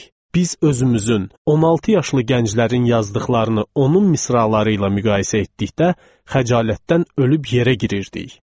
Biz özümüzün, 16 yaşlı gənclərin yazdıqlarını onun misraları ilə müqayisə etdikdə xəcalətdən ölüb yerə girirdik.